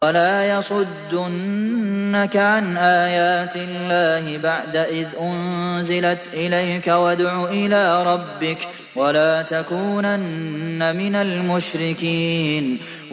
وَلَا يَصُدُّنَّكَ عَنْ آيَاتِ اللَّهِ بَعْدَ إِذْ أُنزِلَتْ إِلَيْكَ ۖ وَادْعُ إِلَىٰ رَبِّكَ ۖ وَلَا تَكُونَنَّ مِنَ الْمُشْرِكِينَ